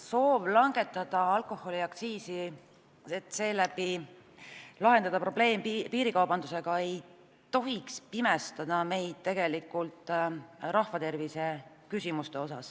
Soov langetada alkoholiaktsiisi, et seeläbi lahendada piirikaubanduse probleem, ei tohiks meid tegelikult sel moel pimestada, nii et me ei näe rahva tervise küsimusi.